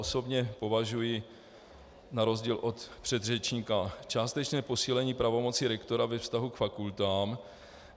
Osobně považuji na rozdíl od předřečníka částečné posílení pravomocí rektora ve vztahu k fakultám.